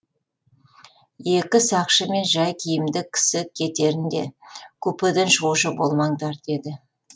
екі сақшы мен жай киімді кісі кетерінде купеден шығушы болмаңдар деді